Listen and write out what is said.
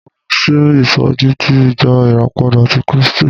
Mo lọ sí ìsọjí ti ìjọ ìràpadà ti Krístì.